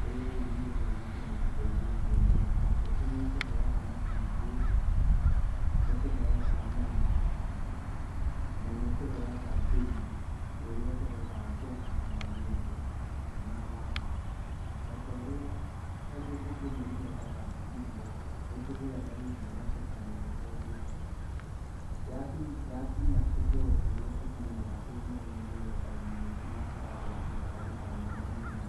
rũrĩrĩ-inĩ rũrũ rwitũ nĩ ĩtũteithĩtie mũno. Ta ngũkũ nĩ ĩtũheaga matumbĩ, nĩ ĩtũheaga nyama na nĩ ĩtũheaga thumu ũrĩa tũhotaga kũhanda naguo indo. Na o ta ũrĩa tondũ ngũkũ ĩno nĩ yendaga irio, nĩ tũgũraga irio na tũkamĩhe tondũ yakinya gĩkĩro kĩrĩa ĩkinyaga ĩĩ nene nĩ yendagio na ĩgacokia bainda nene mũno.